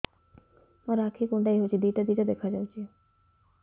ମୋର ଆଖି କୁଣ୍ଡାଇ ହଉଛି ଦିଇଟା ଦିଇଟା ଦେଖା ଯାଉଛି